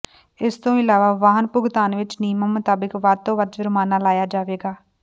ਇਸ ਤੋਂ ਇਲਾਵਾ ਵਾਹਨ ਭੁਗਤਾਨ ਵਿਚ ਨਿਯਮਾਂ ਮੁਤਾਬਕ ਵੱਧ ਤੋਂ ਵੱਧ ਜੁਰਮਾਨਾ ਲਾਇਆ ਜਾਵੇਗਾ